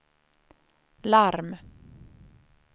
larm